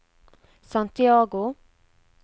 Santiago